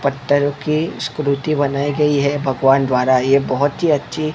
पत्थर की स्क्रूती बनाई गई है भगवान द्वारा ये बहोत ही अच्छी--